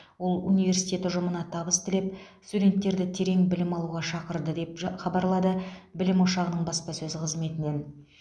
ол университет ұжымына табыс тілеп студенттерді терең білім алуға шақырды деп жа хабарлады білім ошғаның баспасөз қызметінен